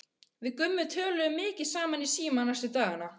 Við Gummi töluðum mikið saman í síma næstu daga.